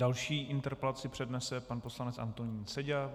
Další interpelaci přednese pan poslanec Antonín Seďa.